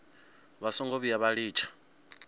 vha songo vhuya vha litsha